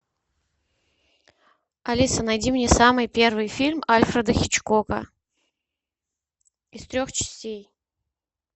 алиса найди мне самый первый фильм альфреда хичкока из трех частей